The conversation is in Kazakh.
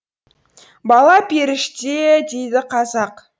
бала періште дейді қазақ